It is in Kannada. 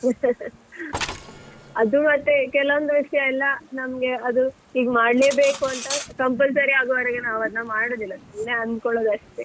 ಅದು ಮತ್ತೇ ಕೆಲವೊಂದು ವಿಷಯೆಲ್ಲಾ ನಮ್ಗೆ ಅದು ಹೀಗ್ ಮಾಡ್ಲೇಬೇಕ್ ಅಂತ compulsory ಆಗುವವರೆಗೆ ನಾವ್ ಅದನ್ನು ಮಾಡುದಿಲ್ಲ ಸುಮ್ನೆ ಅಂಧ್ಕೊಳೋದಷ್ಟೇ ಅಷ್ಟೇ.